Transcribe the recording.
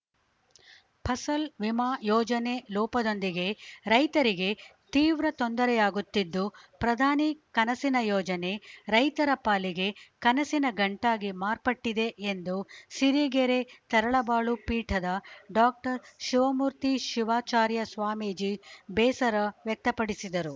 ಫಸಲ್‌ ವಿಮಾ ಯೋಜನೆ ಲೋಪದೊಂದಿಗೆ ರೈತರಿಗೆ ತೀವ್ರ ತೊಂದರೆಯಾಗುತ್ತಿದ್ದು ಪ್ರಧಾನಿ ಕನಸಿನ ಯೋಜನೆ ರೈತರ ಪಾಲಿಗೆ ಕನಸಿನ ಗಂಟಾಗಿ ಮಾರ್ಪಟ್ಟಿದೆ ಎಂದು ಸಿರಿಗೆರೆ ತರಳಬಾಳು ಪೀಠದ ಡಾಕ್ಟರ್ ಶಿವಮೂರ್ತಿ ಶಿವಾಚಾರ್ಯ ಸ್ವಾಮೀಜಿ ಬೇಸರ ವ್ಯಕ್ತಪಡಿಸಿದರು